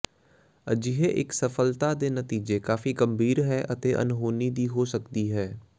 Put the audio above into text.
ਅਜਿਹੇ ਇੱਕ ਅਸਫਲਤਾ ਦੇ ਨਤੀਜੇ ਕਾਫ਼ੀ ਗੰਭੀਰ ਹੈ ਅਤੇ ਅਣਹੋਣੀ ਦੀ ਹੋ ਸਕਦੀ ਹੈ